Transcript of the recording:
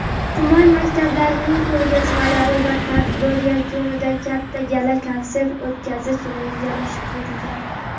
tuman maktablarining ko‘rgazmalari va tadbir yakunida katta gala konsert o‘tkazish rejalashtirilgan.